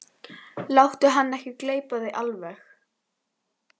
Láttu hann ekki gleypa þig alveg!